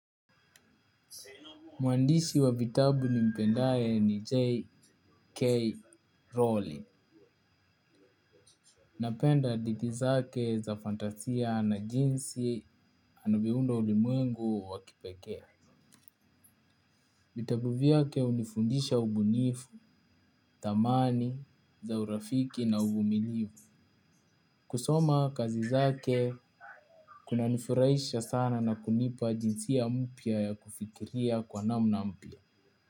Mwandishi wa vitabu ni mpendae ni J.K. Rowling. Napenda hadithi zake za fantasia na jinsi anavyounda ulimwengu wakipekee vitabu vyake unifundisha ubunifu, thamani, za urafiki na ubuminifu. Kusoma kazi zake kuna nifurahisha sana na kunipa jinsi ya mpia ya kufikiria kwa namna mpia.